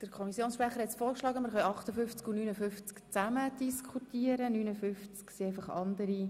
Der Kommissionssprecher hat vorgeschlagen, dass wir die Geschäfte 58 und 59 gemeinsam diskutieren.